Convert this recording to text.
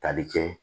Tali kɛ